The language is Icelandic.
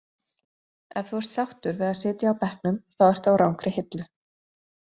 Ef þú ert sáttur við að sitja á bekknum þá ertu á rangri hillu.